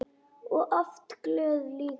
Og oft glöð líka.